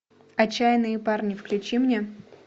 отчаянные парни включи мне